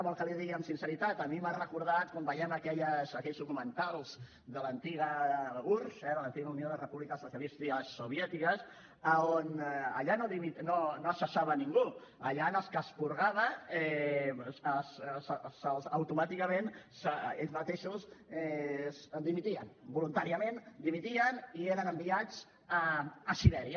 vol que l’hi digui amb sinceritat a mi m’ha recordat quan vèiem aquells documentals de l’antiga urss eh de l’antiga unió de les repúbliques socialistes soviètiques on allà no es cessava ningú allà els que es purgaven automàticament ells mateixos dimitien voluntàriament dimitien i eren enviats a sibèria